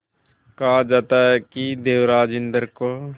कहा जाता है कि देवराज इंद्र को